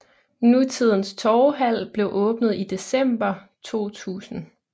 Nutidens torvehal blev åbnet i december 2000